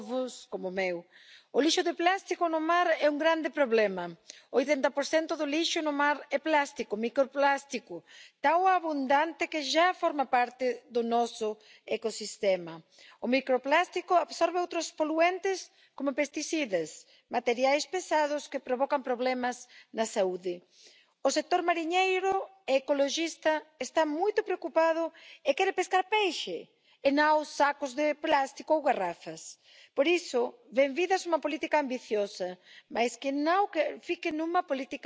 Señora presidenta, es una satisfacción escuchar la unanimidad de esta Cámara, de todos los colegas de distintos grupos políticos, a la hora de ver cómo atender a la necesidad que tenemos de abordar la eliminación del plástico en el uso habitual de nuestra vida. El plástico tiene, sin duda, usos que son interesantes y que nos han facilitado la vida, pero tenemos que ser conscientes de que esa utilidad que nos ha dado a la sociedad ahora es un gran problema. Nos hemos excedido en el uso de los plásticos en demasiadas aplicaciones. Por tanto, hay que tomar medidas y por